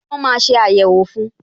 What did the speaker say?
Wọn máa ṣe ayẹwo fun